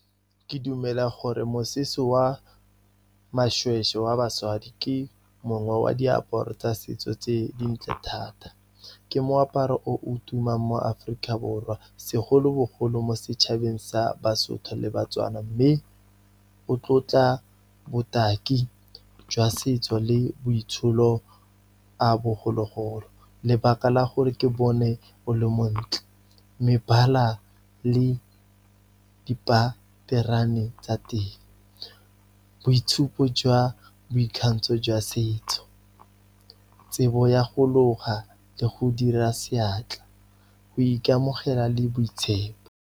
Ke dumela gore mosese wa mašwešwe wa basadi, ke mongwe wa diaparo tsa setso tse dintle thata. Ke moaparo o o tumang mo Aforika Borwa segolobogolo, mo setšhabeng sa baSotho le baTswana mme, o tlotla botaki jwa setso le boitsholo a bogologolo. Lebaka la gore ke bone o le montle, mebala le dipaterone tsa teng, boitshupo jwa boikgantsho jwa setso, tsebo ya go loga le go dira seatla, go ikamogela le boitshepo.